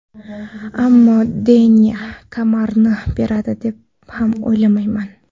Ammo Deyna kamarni beradi deb ham o‘ylamayman.